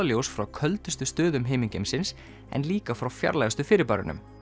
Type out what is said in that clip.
ljós frá köldustu stöðum himingeimsins en líka frá fjarlægustu fyrirbærunum